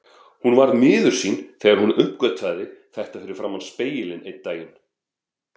Hún varð miður sín þegar hún uppgötvaði þetta fyrir framan spegilinn einn daginn.